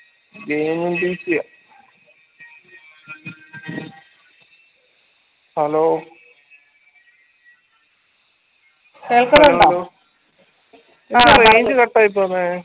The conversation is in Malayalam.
game ഉം hello range cut ആയിപ്പോന്നേ